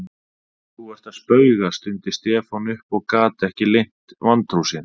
Þú ert að spauga stundi Stefán upp og gat ekki leynt vantrú sinni.